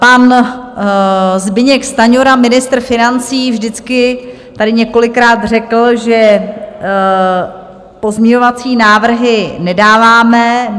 Pan Zbyněk Stanjura, ministr financí, vždycky tady několikrát řekl, že pozměňovací návrhy nedáváme.